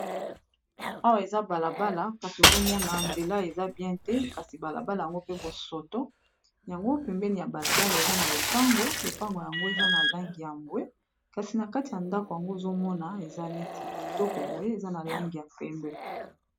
awa eza balabala kasi ozomona nzela eza bien te kasi balabala yango pe bosoto yango pembeni ya balabala eza na lopango lopango yango eza na langi ya bwe kasi na kati ya ndako yango ozomona eza neti kitoko boye eza na langi ya pembe.